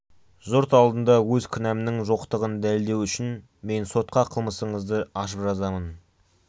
жұрт алдында өз кінәмнің жоқтығын дәлелдеу үшін мен сотқа қылмысыңызды ашып жазамын